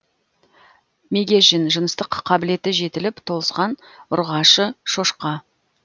мегежін жыныстық қабілеті жетіліп толысқан ұрғашы шошқа